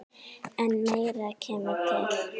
En meira kemur til.